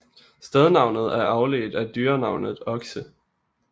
Stednavnet er afledt af dyrenavnet okse